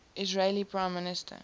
israeli prime minister